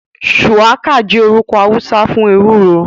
Shuwaka jẹ orukọ Hausa fun ewuro.